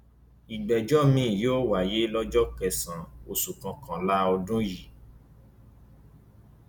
ìgbẹjọ miín yóò wáyé lọjọ kẹsànán oṣù kọkànlá ọdún yìí